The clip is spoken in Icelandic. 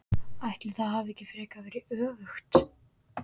Ætli það hafi ekki frekar verið öfugt!